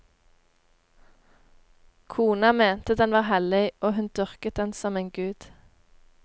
Kona mente den var hellig og hun dyrket den som en gud.